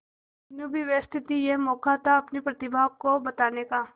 मीनू भी व्यस्त थी यह मौका था अपनी प्रतिभा को बताने का